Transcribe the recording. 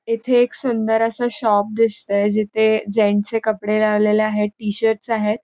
इथे एक सुंदर अस शॉप दिसतय जिथे जेन्ट्सचे कपडे लावलेले आहेत टी-शर्टस आहेत.